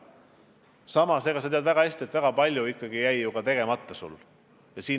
Samas sa tead väga hästi, et väga palju ikkagi jäi sul tegemata.